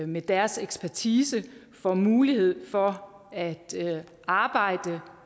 med deres ekspertise får mulighed for at arbejde